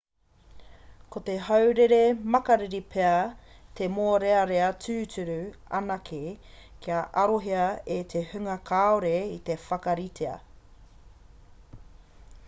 ko te haurere makariri pea te mōrearea tūturu anake ka arohia e te hunga kāore i te whakaritea